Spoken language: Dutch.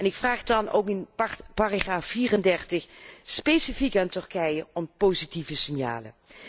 Ik vraag dan ook in paragraaf 34 specifiek aan Turkije om positieve signalen.